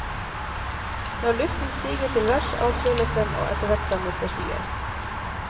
Når luften stiger til værs avkjøles den og etterhvert dannes det skyer.